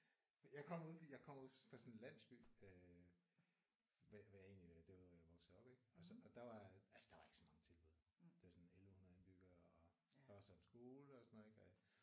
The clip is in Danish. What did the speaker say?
Jeg kommer ude fra jeg kommer ude fra sådan en landsby øh hvad hvad egentlig derude hvor jeg voksede op ik og så og der var altså der var ikke så mange tilbud der var sådan 1100 indbyggere og der var så en skole og sådan noget ik